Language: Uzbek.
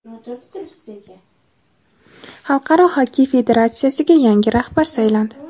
Xalqaro xokkey federatsiyasiga yangi rahbar saylandi.